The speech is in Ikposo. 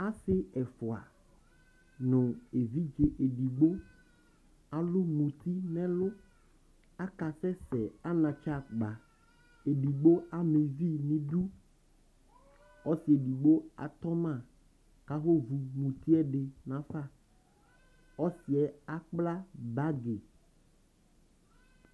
Asι ɛfʋa nʋ evidze edigbo alʋ muti nʋ ɛlʋ, aka sɛsɛ anatsɛ akpa, edigbo ama uvi nʋ idu Ɔsi edigbo atɔ ma kʋ afʋ ovu muti yɛ ɛdι nafa, ɔsιyɛ akpla bagι